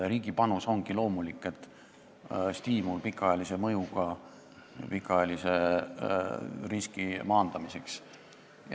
Riigi panus ongi siin loomulik, stiimul on pikaajalise mõjuga, mõeldud pikaajalise riski maandamiseks.